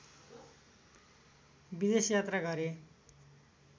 विदेश यात्रा गरे